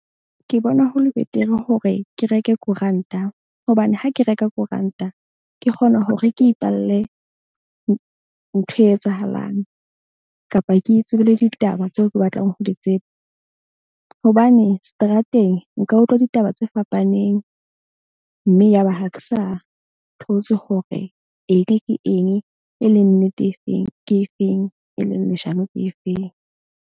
Ke bona ho le betere hore ke reke koranta. Hobane ha ke reka koranta, ke kgona hore ke ipalle ntho e etsahalang kapa ke itsebele ditaba tseo ke batlang ho di tseba. Hobane seterateng nka utlwa ditaba tse fapaneng, mme ya ba ha ke sa thotse hore eng ke eng e leng nnete efeng, ke efeng e leng leshano ke efeng.